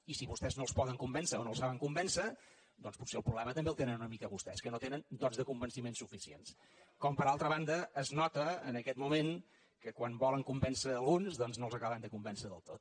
i si vostès no els poden convèncer o no els saben convèncer doncs potser el problema també el tenen una mica vostès que no tenen dots de convenciment suficients com per altra banda es nota en aquest moment que quan volen convèncer alguns doncs no els acaben de convèncer del tot